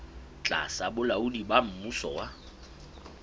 tlasa bolaodi ba mmuso wa